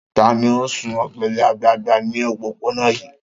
Ta ni ó ń sun ọ̀gẹ̀dẹ̀ àgbagbà ní òpópónà yìí?